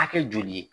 Hakɛ joli ye